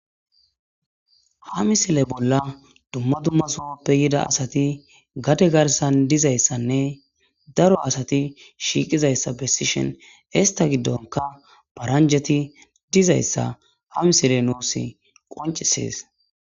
Ha misile bolla dumma dummasohoppe yida asati gade garsan dizayssanne daro asati shiiqizayssa bessishen ista giddonka paranjeti dizayssa ha misile nuus qoncisees